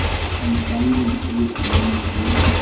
khampaneng ee o ne o